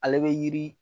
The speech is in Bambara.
Ale bɛ yiri